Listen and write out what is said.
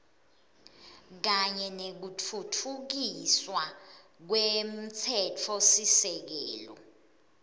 kanye nekutfutfukiswa kwemtsetfosisekelo